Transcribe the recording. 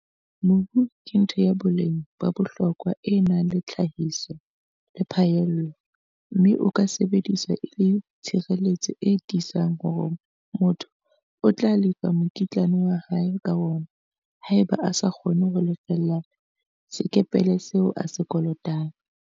Mobu ke ntho ya boleng ba bohlokwa e nang le tlhahiso le phaello mme o ka sebediswa e le tshireletso e tiisang hore motho o tla lefa mokitlane wa hae ka wona haeba a sa kgone ho lefella sekepele seo a se kolotang.